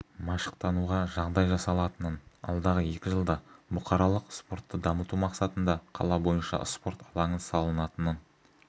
машықтануға жағдай жасалатынын алдағы екі жылда бұқаралық спортты дамыту мақсатында қала бойынша спорт алаңы салынатынын